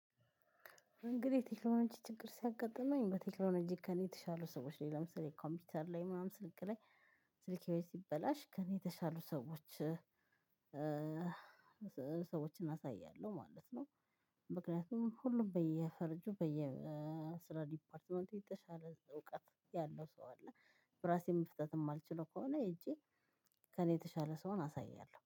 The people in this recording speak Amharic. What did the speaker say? እንግዲህ ቴክኖሎጂ ችግር ሲያጋጥመኝ በቴክኖሎጂ ከኔ የተሻሉ ሰዎች ላይ ለምሳሌ ኮምፒውተር ላይ ምናምን ስልክ ላይ ስልኬ ሲበላሽ ከእኔ የተሻሉ ሰዎች ሰዎችን አሳያለሁ ማለት ነው። ምክንያቱም ሁሉም በየፈረጁ በየስራ ዲፓርትመንቱ የተሻለ እውቀት ያለው ሰው አለ። በራሴ መፍታት ማልችለው ከሆነ ሄጄ ከእኔ የተሻለ ሰውን አሳያለሁ